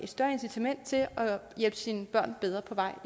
større incitament til at hjælpe sine børn bedre på vej